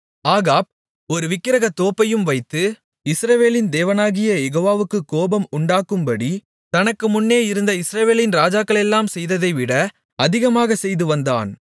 Ahab ஒரு விக்கிரகத்தோப்பையும் வைத்து இஸ்ரவேலின் தேவனாகிய யெகோவாவுக்குக் கோபம் உண்டாக்கும்படி தனக்கு முன்னே இருந்த இஸ்ரவேலின் ராஜாக்களெல்லாம் செய்ததைவிட அதிகமாகச் செய்துவந்தான்